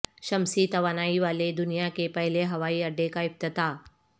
شمسی توانائی والے دنیا کے پہلے ہوائی اڈے کا افتتاح